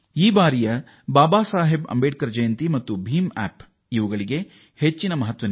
ಈ ಬಾರಿ ಬಾಬಾ ಸಾಹೇಬ್ ಅಂಬೇಡ್ಕರ್ ಅವರ ಜನ್ಮ ದಿನೋತ್ಸವಕ್ಕೆ ಹಾಗೂ ಬೀಮ್ ಆಪ್ ಗೆ ವಿಶೇಷ ಮಹತ್ವ ನೀಡಿ